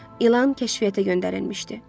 İlan kəşfiyyata göndərilmişdi.